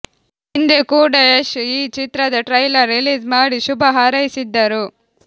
ಹಿಂದೆ ಕೂಡ ಯಶ್ ಈ ಚಿತ್ರದ ಟ್ರೈಲರ್ ರಿಲೀಸ್ ಮಾಡಿ ಶುಭ ಹಾರೈಸಿದ್ದರು